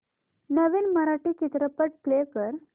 नवीन मराठी चित्रपट प्ले कर